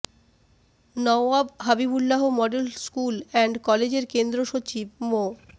Nawab Habibullah model school and কলেজের কেন্দ্র সচিব মো